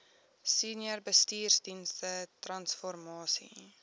senior bestuursdienste transformasie